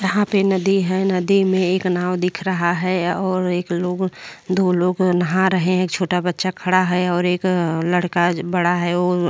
यहाँ पे नदी है। नदी में एक नाव दिख रहा है और एक लोग दो लोग नहा रहे हैं। छोटा बच्चा खड़ा है और लड़का बड़ा है जो --